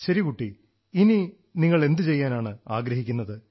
ശരി കുട്ടീ ഇനി നിങ്ങൾ എന്തു ചെയ്യാനാണ് ആഗ്രഹിക്കുന്നത്